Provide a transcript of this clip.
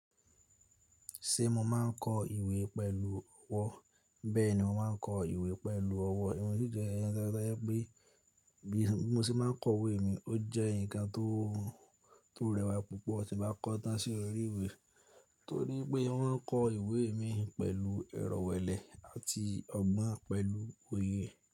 Ṣé mo máa ń kọ ìwé pẹ̀lú ọwọ́? Bẹ́ẹ̀ni, mo máa ń kọ ìwé pẹ̀lú ọwọ́. Yóò jẹ́ ẹni to yẹ ko je pé bí mo ṣe má ń kọ ìwé mi, ó jẹ́ nǹkan tó rẹwà púpọ̀ tí n bá kọ́ tán sí orí ìwé, torí pé mo maa ń kọ ìwé mi pẹ̀lú ẹrọ̀wẹ̀lẹ́ àti ọgbọ́n pẹ̀lú oyè.